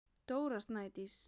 Dóra Snædís.